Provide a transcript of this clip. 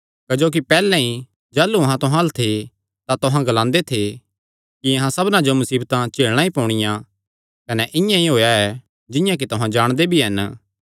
क्जोकि पैहल्ले ई जाह़लू अहां तुहां अल्ल थे तां तुहां ग्लांदे थे कि अहां सबना जो मुसीबतां झेलणा ई पोणियां कने इआं ई होएया ऐ जिंआं कि तुहां जाणदे भी हन